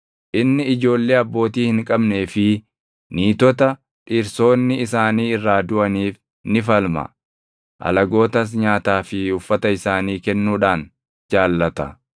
Inni ijoollee abbootii hin qabnee fi niitota dhirsoonni isaanii irraa duʼaniif ni falma; alagootas nyaataa fi uffata isaanii kennuudhaan jaallata.